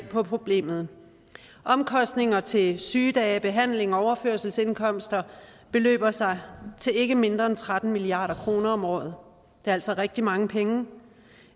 på problemet omkostninger til sygedage behandling og overførselsindkomster beløber sig til ikke mindre end tretten milliard kroner om året det er altså rigtig mange penge